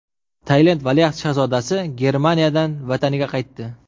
Tailand valiahd shahzodasi Germaniyadan vataniga qaytdi.